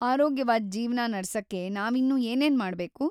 ಆರೋಗ್ಯವಾದ್ ಜೀವ್ನ ನಡ್ಸಕ್ಕೆ ನಾವಿನ್ನೂ ಏನೇನ್‌ ಮಾಡ್ಬೇಕು?